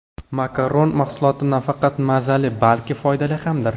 Makaron mahsuloti nafaqat mazali, balki foydali hamdir.